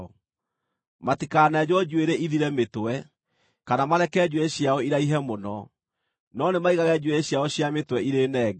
“ ‘Matikanenjwo njuĩrĩ ĩthire mĩtwe, kana mareke njuĩrĩ ciao iraihe mũno, no nĩ maigage njuĩrĩ ciao cia mĩtwe irĩ nenge.